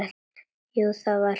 Jú, það var spenna.